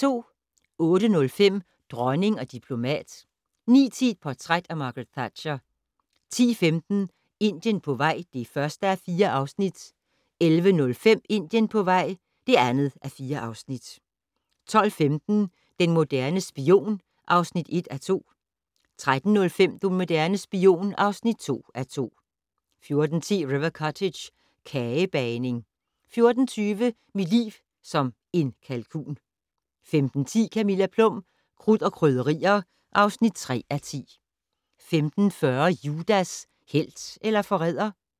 08:05: Dronning og diplomat 09:10: Portræt af Margaret Thatcher 10:15: Indien på vej (1:4) 11:05: Indien på vej (2:4) 12:15: Den moderne spion (1:2) 13:05: Den moderne spion (2:2) 14:10: River Cottage - kagebagning 14:20: Mit liv som en kalkun 15:10: Camilla Plum - Krudt og Krydderier (3:10) 15:40: Judas - helt eller forræder?